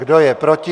Kdo je proti?